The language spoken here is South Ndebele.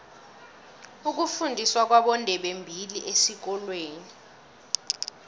ukufundiswa kwabondebembili esikolweni